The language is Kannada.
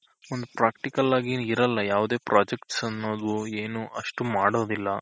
ಒಂದ್ Practical ಆಗಿ ಇರಲ್ಲ ಯಾವ್ದೆ Projects ಅನ್ನೋದು ಏನು ಅಷ್ಟು ಮಾಡೋದಿಲ್ಲ.